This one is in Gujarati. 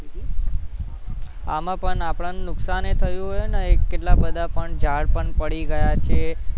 આમાં પણ આપણને નુકસાન એ થયું એ ને કેટલા બધા પણ ઝાડ પણ પડી ગયા છે